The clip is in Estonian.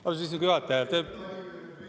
Austatud istungi juhataja!